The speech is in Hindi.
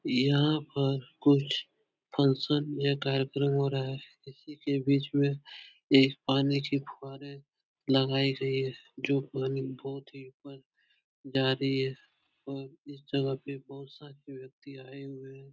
यहाँ पर कुछ फंक्शन या कार्यक्रम हो रहा है। इसी के बीच में एक पानी के फुहारे लगाये गये हैं जो पानी बहुत ही ऊपर जा रही है और इस जगह पर बहुत सारे व्यक्ति आए हुए हैं।